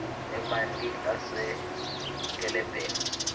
emanti asenkelebheni